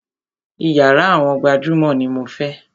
Iyàrá àwọn gbajúmọ̀ ní mo fẹ́!